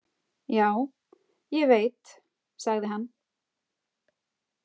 Já, ég veit, sagði hann.